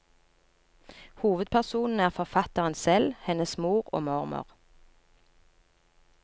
Hovedpersonene er forfatteren selv, hennes mor og mormor.